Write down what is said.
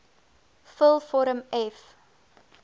vul vorm f